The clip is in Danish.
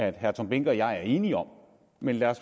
at herre tom behnke og jeg er enige om men lad